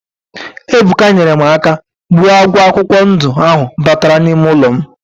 Ebuka nyere m aka gbuo agwọ akwụkwọ ndụ ahụ batara n'ime ụlọ m